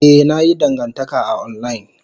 Ee, na yi dangantaka a online.